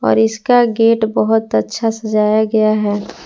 और इसका गेट बहोत अच्छा सजाया गया है।